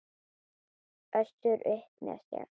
Össur upp með sér.